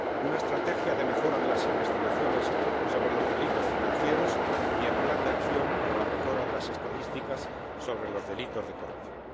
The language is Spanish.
una estrategia de mejora de las investigaciones sobre los delitos financieros y el plan de acción para la mejora de las estadísticas sobre los delitos de corrupción.